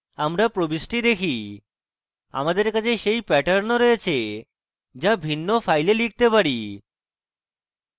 আমরা প্রবিষ্টি দেখি আমাদের কাছে সেই প্যাটার্ন ও রয়েছে যা ভিন্ন files লিখতে পারি